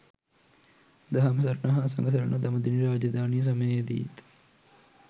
දහම් සරණ හා සඟ සරණ දඹදෙණි රාජධානි සමයේදීත්